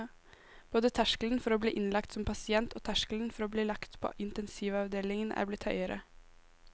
Både terskelen for å bli innlagt som pasient og terskelen for å bli lagt på intensivavdelingen er blitt høyere.